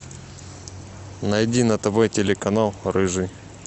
найди на тв телеканал рыжий